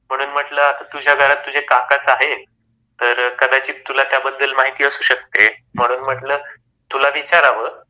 म्हणून म्हटल तुझ्या घरात तुझे काकाच आहे, तर कदाचित तुला त्याबद्दल माहिती असू शकते. म्हणून म्हटल तुला विचाराव.